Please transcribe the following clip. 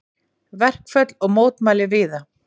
Verkföll og mótmæli víða